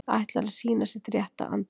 Ætlar að sýna sitt rétta andlit